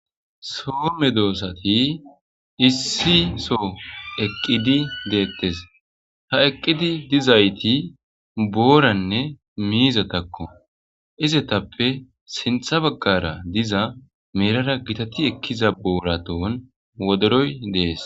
soome doossati issi so eqqidi deettes ha eqqidi dizayti booranne miiza takko izetappe sintha baggara diza meerara gitati ekkiza booratoon wodoroy dees